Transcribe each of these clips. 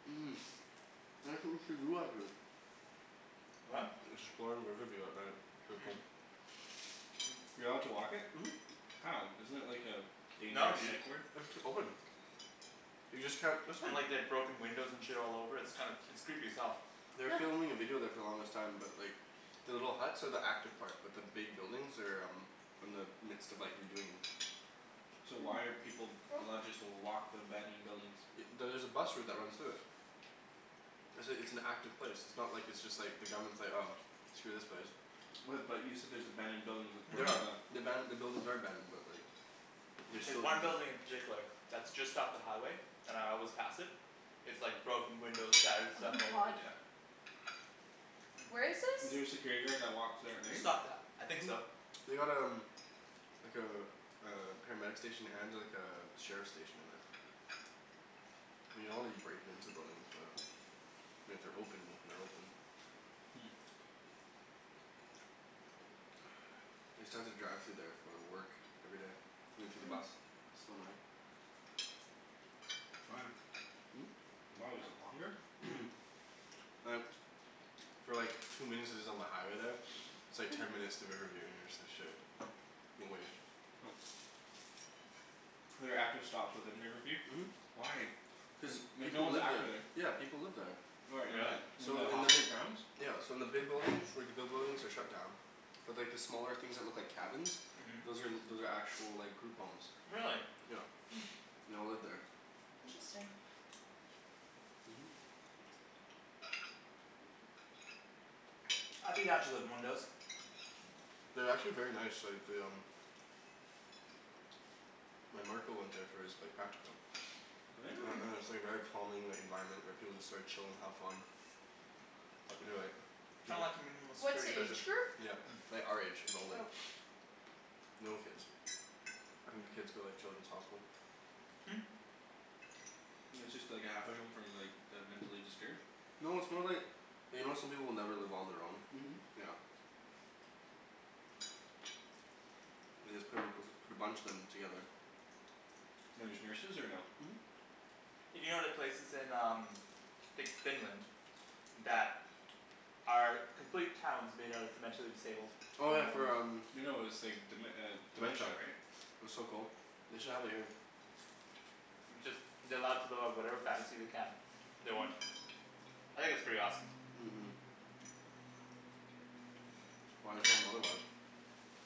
What? Riverview at night. Mm. You allowed to walk it? Mhm. How? Isn't it like a No dangerous dude. psych ward? It's open. You just can't, that's not And like they've broken windows and shit all over, it's kind of, it's creepy as hell. They were filming a video there for the longest time, but like The little huts are the active part, but the big buildings are um in the midst of like redoing 'em. So why are people allowed just to walk the abandoned buildings? Y- there's a bus route that runs through it. It's a it's an active place. It's not like it's just like, the government's like "Oh, screw this place." What but you said there's abandoned buildings with Mhm. The aban- the buildings are abandoned but like they There's still one building in particular that's just off the highway and I always pass it. It's like broken windows, shattered Oh stuff my all over, god. yeah. Where is Is this? there a security guard that walks there at night? Just off the, I think so. They got um like a a paramedic station and like a sheriff station in there. I mean you don't wanna be breaking into buildings but I mean if they're open, if they're open. Hmm. I used to have to drive through there for uh work. Every day. Into the bus. So annoying. Why? Hmm? Why, was it longer? Mhm. Like For like two minutes is is on the highway there. It's like ten minutes through Riverview, and you're just like "Shit." There are active stops within Riverview? Mhm. Why? Cuz Like no people one's live there. active there. Yeah people live there. Where, Really? in the in So the in the hospital grounds? Yeah so in the big buildings, like the big buildings are shut down. But like the smaller things that look like cabins Mhm. those are those are actual like group homes. Really? Yeah. They all live there. Interesting. Mhm. I'd be down to living in one of those. Mm. They're actually very nice, like they um My marker went there for his like practicum. Really? And Hmm. and it's like very calming, the environment, where people like chill and have fun. Uh they're like Kind of like a minimal What's security the prison. age group? Yeah. Like our age and older. Oh. No kids. I think the kids go like Children's Hospital. Hmm. It's just like a halfway home from like the mentally disturbed? No, it's more like you know how some people will never live on their own? Mhm. Yeah. They just put a p- put a bunch of them together. And there's nurses or no? Mhm. Hey do you know the places in um like Finland that are complete towns made out of the mentally disabled. Oh yeah for um, No no it's like dem- uh dementia dementia. right? That's so cool. They should have it here. It's just they're allowed to live out whatever fantasy they can. They want. I think that's pretty awesome. Mhm. Why tell 'em otherwise?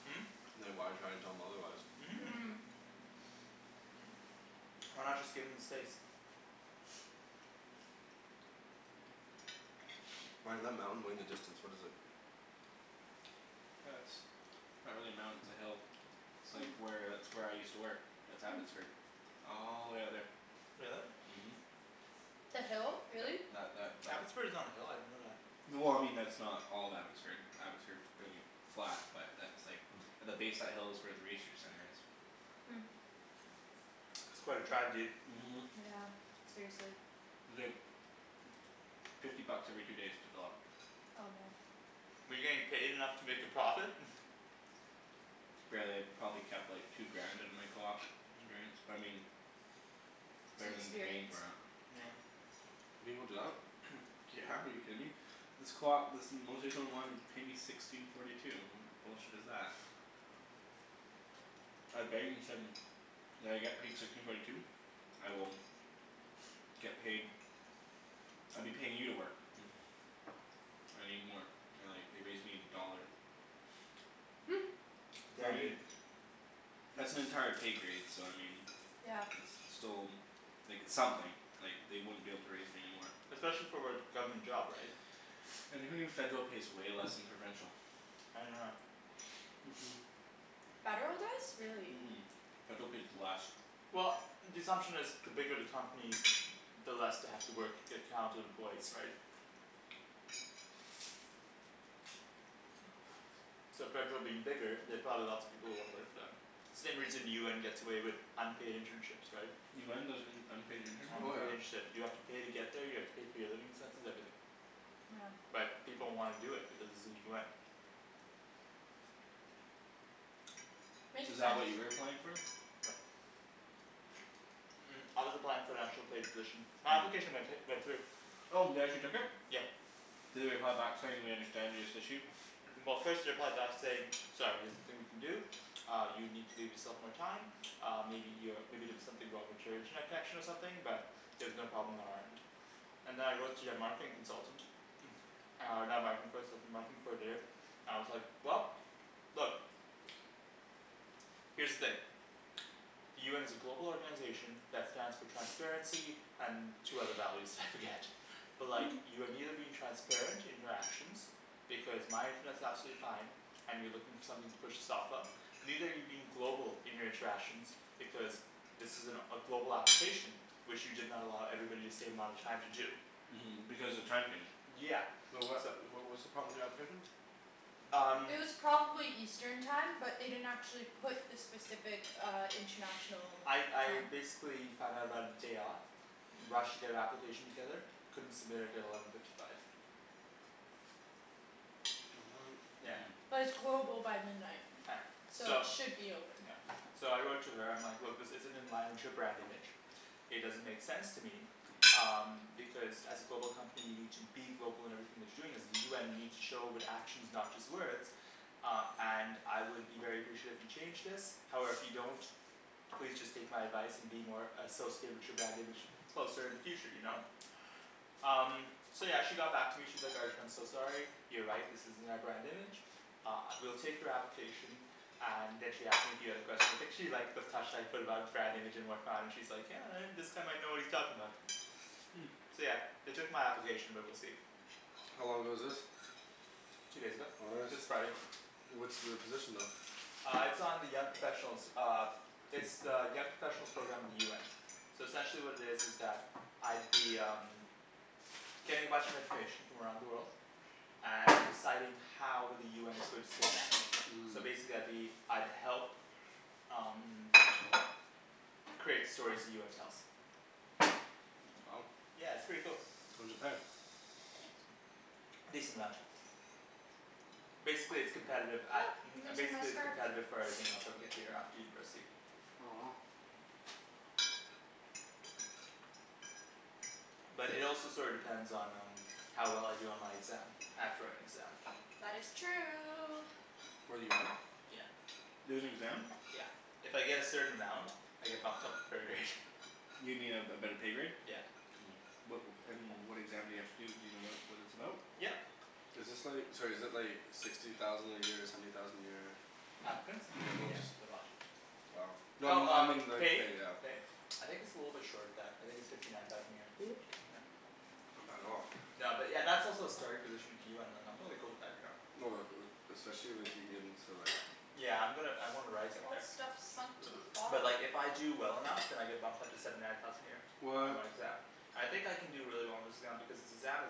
Hmm? Like why try to tell them otherwise? Mhm. Mmm. Why not just give them the space? Ryan, that mountain way in the distance, what is it? That's not really a mountain, it's a hill. It's like where, that's where I used to work. That's Abbotsford. All the way out there. Really? Mhm. The hill? Really? That that Abbotsford is on a hill? I didn't know that. Well I mean that's not all of Abbotsford, Abbotsford's pretty flat, but that's like the base of that hill is where the research center is. Hmm. That's quite a drive dude. Mhm. Yeah, seriously. It's like fifty bucks every two days to fill up. Oh man. Were you getting paid enough to make a profit? Barely. Probably kept like two grand out of my coop experience, but I mean It's better than paying experience. for it. Yeah. People do that? Yeah, are you kidding me? This coop, this paid me sixteen forty two. What bullshit is that? said "Will I get paid sixteen forty two?" "I will" "get paid." "I'd be paying you to work." "I need more." They're like, they raised me a dollar. I Yeah mean dude. that's an entire pay grade, so I mean Yeah. it's, it's still like, it's something. Like, they wouldn't be able to raise me anymore. Especially for what, government job right? And who knew federal pays way less than provincial? I didn't know that. Mhm. Mmm. Federal does? Really. Mhm. Federal pays less. Well the assumption is the bigger the company the less they have to work to get counted employees right? So federal being bigger, they have probably lots of people who wanna work for them. Same reason UN gets away with unpaid internships, right? UN does un- unpaid Oh yeah. internships? Unpaid internships, you have to pay to get there, you have to pay for your living expenses, everything. Yeah. But people wanna do it because it's the UN. Is Makes that what you sense. were applying for? No. Mm I was applying for an actual paid position. My application went hi- went through. Oh, they actually took it? Yeah. Did they reply back saying "We understand this issue?" Well first they replied back to say "Sorry there's nothing we can do." "Uh you need to leave yourself more time." "Uh maybe you're, maybe there was something wrong with your internet connection or something, but" "there's no problem on our end." And then I wrote to their marketing consultant. Uh and with the marketing coordinator. And I was like, "Well, look." "Here's the thing." "The UN is a global organization that stands for transparency and two other values, I forget." "But like, you are neither being transparent in your actions, because my internet's absolutely fine." "And you're looking for something to push this off of." "Neither are you being global in your interactions, because this is an a global application" "which you did not allow everybody the same amount of time to do." Mhm, because the time changed. Yeah. Wait what, So wh- what's the problem with the application? Um It was probably eastern time, but they didn't actually put the specific uh international I time. I basically found out about it day of. Rushed to get an application together. Couldn't submit it at eleven fifty five. Yeah. Mhm. But it's global by midnight. Yeah. So it So should be open. Yeah. So I wrote to her, I'm like "Look, this isn't in line with your brand image." "It doesn't make sense to me." "Um because as a global company, you need to be global in everything that you're doing. As the UN you need show it with actions, not just words." "Uh and I would be very appreciate if you changed this." "However if you don't, please just take my advice and be more associated with your brand image closer in the future, you know? Um So yeah, she got back to me, she's like "Arjan, I'm so sorry." You're right, this isn't our brand image. Uh, we'll take your application. And then she asked me a few other questions. I think she liked the touch that I put about brand image and whatnot. And she's like "Yeah, uh this guy might know what he's talking about." Hmm. So yeah. They took my application but we'll see. How long ago was this? Two days ago. Oh nice. This Friday. What's the position though? Uh it's on the young professionals uh It's the young professionals program of the UN. So essentially what it is is that I'd be um getting a bunch of information from around the world. And deciding how with the UN is going to spin that. Mmm. So basically I'd be, I'd help um create the stories the UN tells. Wow. Yeah, it's pretty cool. What does it pay? A decent amount. Basically it's competitive, a- You're um gonna see my basically it's scarf. competitive for everything else I would get here after university. Oh. But it also sorta depends on um how well I do on my exam. I have to write an exam. That is true. For the UN? Yeah. There's an exam? Yeah. If I get a certain amount I get bumped up a pro grade. You mean a a better pay grade? Yeah. Mmm. What and what exam do you have to do, do you know what what it's about? Yep. Is this like, sorry is it like sixty thousand a year, seventy thousand a year? Applicants? Yeah, no Yeah, just they're a lot. Wow. No I Well mean, I mean um, like pay? pay, yeah. I think it's a little bit short of that. I think it's fifty nine thousand a year. Yeah. Not bad at all. No but yeah, that's also a starting position of UN, like I'm totally cool with that, you know. Oh like uh especially if you get in to like Yeah I'm gonna I wanna rise up All there. this stuff sunk to the But bottom. like if I do well enough then I get bumped up to seventy nine thousand a year. On What my exam. I think I can do really well on this exam because this exam is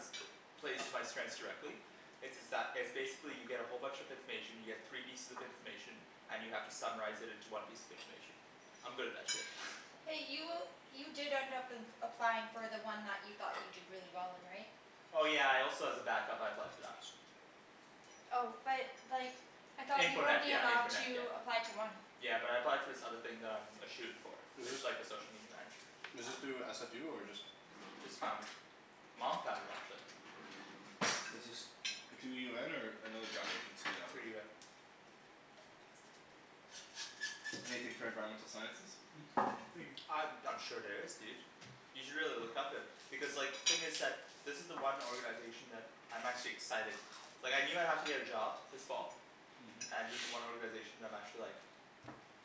plays to my strengths directly. It's it's that, it's basically you get a whole bunch of information, you get three pieces of information and you have to summarize it into one piece of information. I'm good at that shit. Hey, you you did end up applying for the one that you thought you'd do really well in, right? Oh yeah I also as a backup I applied for that. Oh but like I thought you Info were net only yeah, info allowed net yeah. to apply to one. Yeah but I applied for this other thing that I'm a shoo in for. It's like the social media manager. Is this Ah. through SFU or just Just found it. Mom found it actually. Is this through UN or another job agency that Through was UN. Anything for environmental sciences? Mhm. Thank you. Uh I'm sure there is dude. You should really look up it. Because like, thing is that this is the one organization that, I'm actually excited. Like I knew I'd have to get a job this fall. Mhm. And this is the one organization that I'm actually like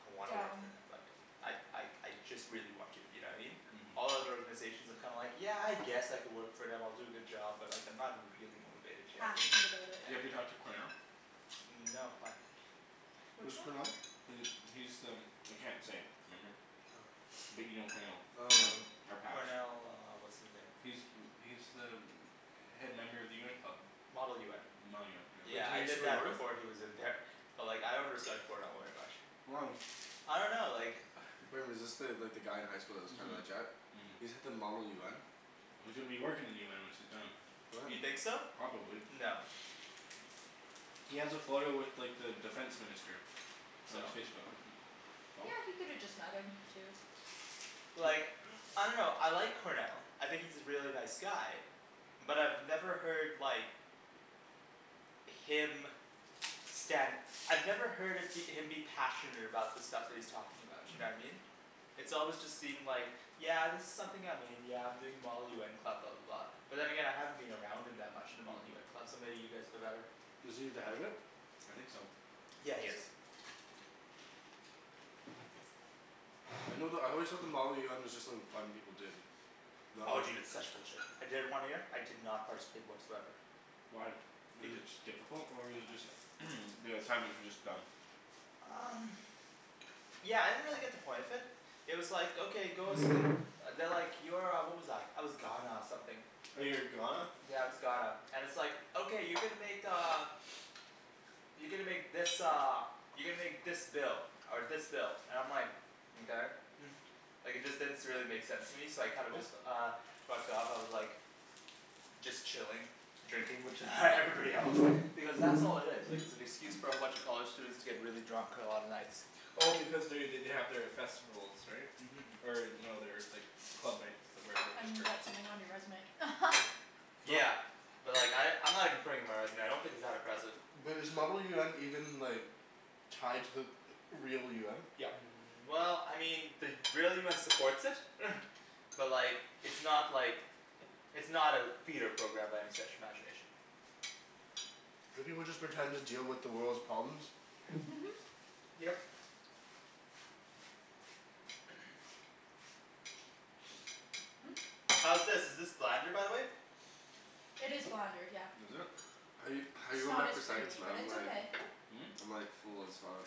I wanna work Down. for and I'd like I like I just really want to, you know what I mean? All Mhm. other organizations I'm kinda like, yeah I guess I could work for them, I'll do a good job, but like I'm not really motivated, you know what I mean? Passionate about it. Do you ever talk to Cornell? Mm no, why? Which Who's one? Cornell? He, he's the I can't say. Remember? Oh. But you know Cornell. Oh no. Our patch. Cornell uh what's his name. He's He's the head member of the UN club. Model UN. Model UN, yeah. Wait, Yeah did he I used to did go that north? before he was in there. But like I don't understand Cornell very much. Why? I dunno like Remember, is this the, like the guy in high school that was kind of a Mhm. jet? He's at the model UN? Well, he's gonna be working in the UN once he's done. What? You think so? Probably. No. He has a photo with like the defense minister. On his So? Facebook. Yeah, he could have just met him too. But like I dunno, I like Cornell. I think he's a really nice guy. But I've never heard like him stand I've never heard of him be passionate about the stuff that he's talking about, you know what I mean? It's always just seemed like "Yeah this is something I'm in, yeah I'm doing the model UN club," blah blah blah. But then again I haven't been around him that much in the Model UN club, so maybe you guys know better. Was he the head of it? I think so. Yeah he is. I know the, I always thought the model UN was just like fun people did. No? Oh dude, it's such bullshit. I did it one year, I did not participate whatsoever. Why? Was it beca- just difficult or was it just the assignments were just dumb? Um Yeah, I didn't really get the point of it. It was like okay, go s- They're like, you're uh, what was I, I was Ghana something. Oh, you were Ghana? Yeah, I was Ghana. And it's like "Okay you're gonna make uh" You're gonna make this uh you're gonna make this bill." Or this bill. And I'm like "Mkay." Like it just didn't s- really make sense to me, so I kinda just uh fucked off, I was like just chilling. Drinking with everybody else. Because that's all it is. Like it's an excuse for a bunch of college students to get really drunk on a lot of nights. Well because they they they have their festivals, right? Mhm. Or no their like club nights, where everyone just And drinks. get something on your resume. But Yeah. But like I, I'm not even putting it on my resume. I don't think it's that impressive. But is model UN even like tied to the real UN? Yep. Mm well, I mean, the real UN supports it. But like it's not like it's not a feeder program by any stretch of imagination. Do people just pretend to deal with the world's problems? Yep. How's this, is this blander by the way? It is blander, yeah. Was it? How you How you It's going not back as for seconds creamy, man, but I'm it's like okay. I'm like full as fuck.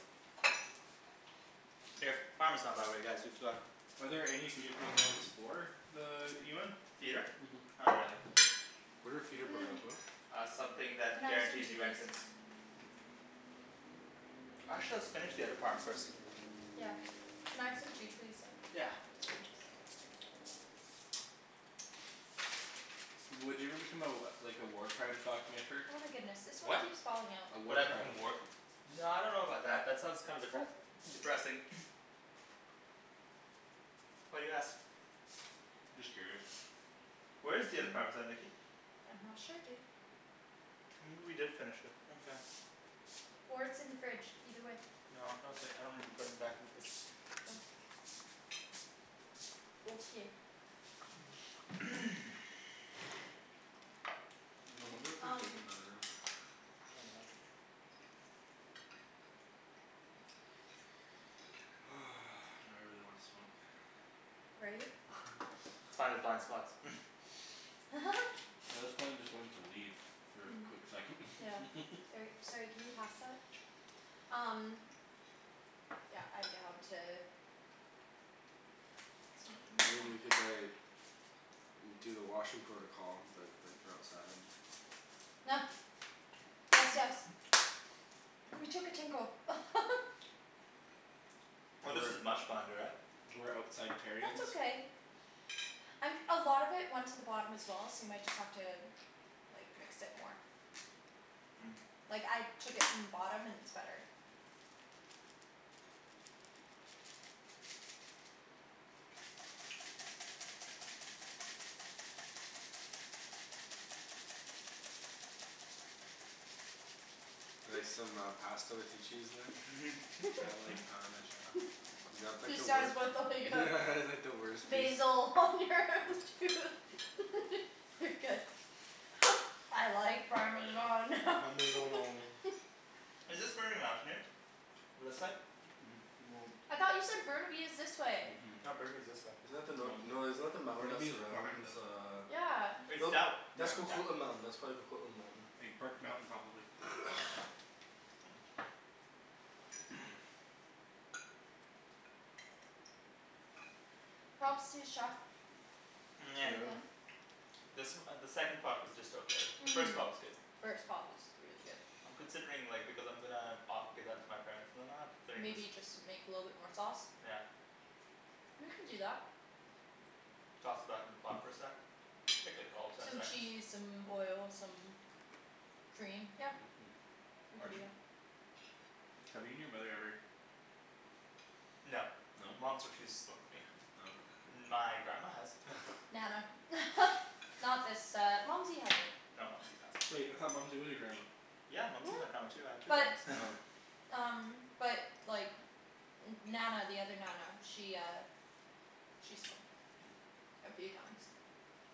Here. Parmesan by the way guys, you forgot. Are there any feeder programs for the UN? Feeder? Mhm. Not really. What are feeder Mmm. programs, what? Uh something Can that I have some guarantees too, you please? entrance. Actually let's finish the other parm first. Yeah. Can I have some too please, though? Yeah. Would you ever become a like a war crimes documenter? Oh my goodness, this one What? keeps falling out. A Would war I become crime. a work No I dunno about that, that sounds kinda depres- depressing. Why do you ask? Just curious. Where is the other parmesan Nikki? I'm not sure dude. Maybe we did finish it, okay. Or it's in the fridge, either way. No, no okay, I don't remember putting it back in the fridge. Oh. Okay. I wonder what they're Um doing in the other room. Oh well. Now I really wanna smoke. Right? Let's find the blind spots. Well this plane is going to leave for a Hmm. quick second. Yeah. Or, sorry, can you pass that? Um Yeah, I'm down to I mean we could like do the washroom protocol, but like for outside. Gracias. Ooh, we took a tinkle. Oh this is much blander, eh? We're outside terrions. That's okay. Um a lot of it went to the bottom as well, so you might just have to like, mix it more. Mm. Like, I took it from the bottom and it's better. Like some uh pasta with your cheese there? I like parmesan. You got like He the wei- says what Yeah like the worst piece. Basil on your tooth. You're good. I like parmesan. Parmeggiano. Is this Burnaby Mountain here? This side? No. I thought you said Burnaby is this way. Mhm. No, Burnaby's this way. Isn't that the nor- no, isn't that the mountain that Burnaby is behind surrounds us. uh Yeah. It's that w- That's Yeah. Coquitlam Mountain. That's probably Coquitlam Mountain. Big Burke Mountain probably. Props to the chef. Pretty good. This uh the second pot was just okay. The first pot was good. First pot was really good. I'm considering like, because I'm gonna o- give that to my parents and then uh considering Maybe just you just make a little bit more sauce. Yeah. We can do that. Toss it back in the pot for a sec. Take like all of ten Some seconds. cheese, some oil, some cream, yep. We can do Arjan? that. Have you and your mother ever No. No? Mom's refused to smoke with me. Oh. My grandma has. Nana. Not this uh, Mumsy hasn't. No Mumsy's awesome. Wait, I thought Mumsy was your grandma? Yeah Mumsy is my grandma too. I have two But grandmas. um But like N- Nana the other Nana, she uh She smoked. A few times.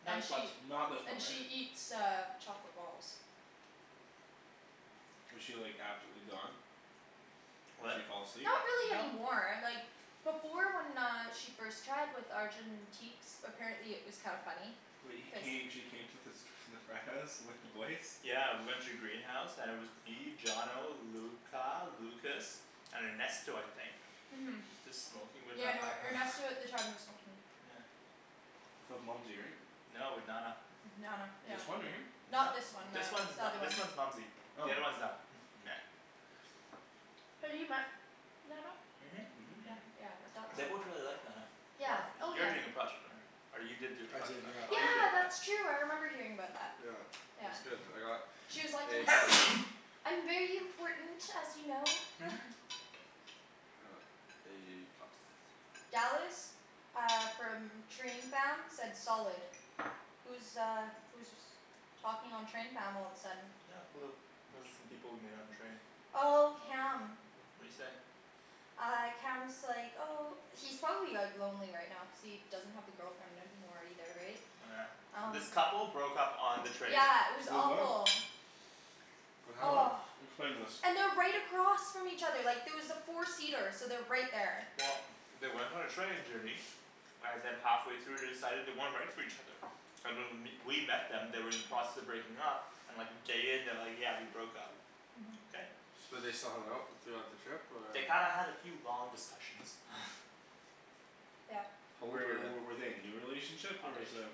Nah And just once. she Not this one, And right? she eats uh chocolate balls. Was she like absolutely gone? She What? fall asleep? Not really No. anymore, like before when she uh first tried, with Arjan in teaks, apparently it was kinda funny. Wait, he came, she came to fas- the frat house with the boys? Yeah we went to the greenhouse and it was me, Johnno, Luca, Lucas, and Ernesto I think. Mhm. Just smoking with Yeah no, Nana. Ernesto at the time was smoking. Yeah. That was Mumsy, right? No, with Nana. Nana, yeah. This one right here? No. Not this one This then. one's The n- other one. this one's Mumsy. The Oh. other's one Na- Yeah. Have you met Nana? Mhm. Yeah yeah, I thought They so. both really liked Nana. One Yeah, of, oh you're yeah. doing a project on her. Or you did do a I project did, on her. yeah. Oh you did, Yeah yeah. that's true, I remember hearing about that. Yeah. It was Yeah. good. I got She was like A "Yes!" plus. "I'm very important, as you know." A plus. Dallas. Uh from train fam, said solid. Who's uh who's was talking on train fam all of a sudden? Not a clue. Those are some people we met on the train. Oh, Cam. What'd he say? Uh Cam's like, oh He's probably like lonely right now cuz he doesn't have the girlfriend anymore either, right? Oh yeah. Um This couple broke up on the train. Yeah, it was Wait what? awful. What happened? Oh. Explain this. And they're right across from each other, like there was a four seater, so they're right there. Well they went on a training journey. And then halfway through they decided they weren't right for each other. And when w- we met them they were in the process of breaking up and like a day in they're like "Yeah, we broke up." Mhm. Okay. So they still hung out throughout the trip or? They kinda had a few long discussions. Yep. How old were Were w- they? were they a new relationship or is um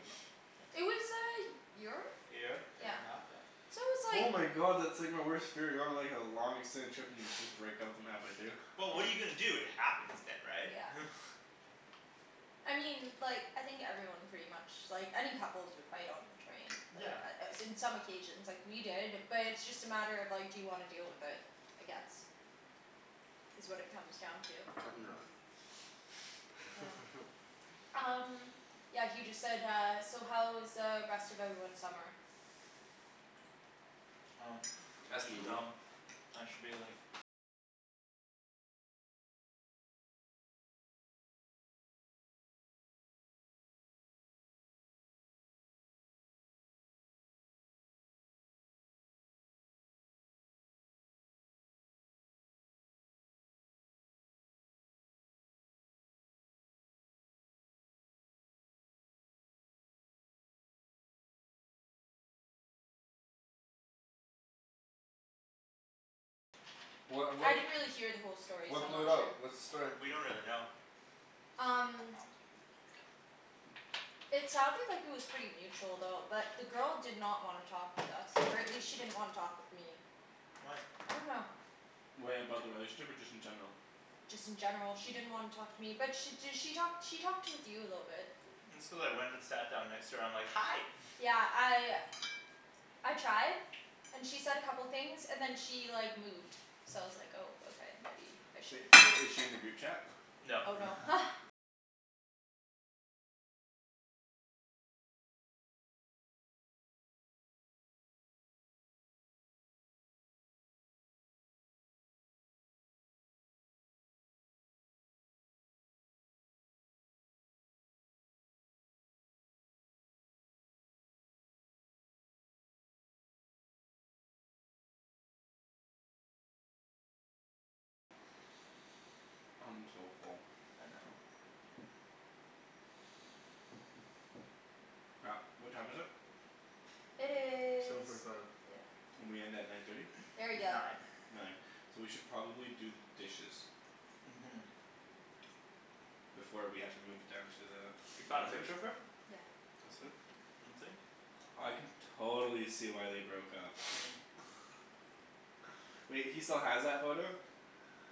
It was a y- year? A year, a year and a half? Yeah. So it was Oh like my god, that's like my worst fear, going on like a long extended trip and you just break up with them halfway through. Well what are you gonna do, it happens then right? Yeah. I mean like, I think everyone pretty much, like any couples would fight on the train. Yeah. Uh in some occasions. Like we did, but it's just a matter of, like, do you wanna deal with it. I guess. Is what it comes down to. Cut and Hmm. run. Yeah. Um Yeah he just said uh, "So how was uh rest of everyone's summer?" Oh. Ask That's me, boo. dumb. I should be like What I what d- didn't really hear the whole story so What I'm blew not it out? sure. What's the story? We don't really know. Um It sounded like it was pretty mutual though. But the girl did not wanna talk with us, or at least she didn't wanna talk with me. Why? I dunno. Wait, about the relationship or just in general? Just in general she didn't wanna talk to me. But she d- she talked she talked with you a little bit. It's cuz I went and sat down next to her, I'm like "Hi." Yeah, I I tried. And she said a couple things, and then she like moved. So I was like oh okay, maybe I But shouldn't i- is she in the group chat? No. Oh no. I'm so full. I know. Crap. What time is it? It Seven is forty five. Yeah. We end at nine thirty? Very good. Nine. Nine. So we should probably do the dishes. Mhm. Before we have to move it down to the You found a picture of her? Yeah. That's it? Let me see. I can totally see why they broke up. Wait, he still has that photo?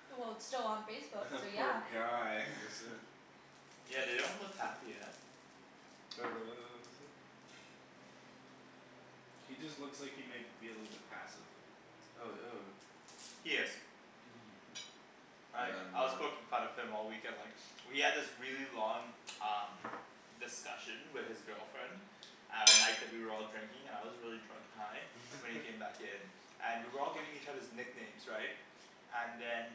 Well it's still on Facebook, The so poor yeah. guy. Yeah they don't look happy, eh? He just looks like he might be a little bit passive. Oh, ew. He is. Mhm. Like, Damn I was man. poking fun of him all weekend, like We had this really long um discussion with his girlfriend at night that we were all drinking, and I was really drunk and high. So when he came back in and we were all giving each others nicknames, right? And then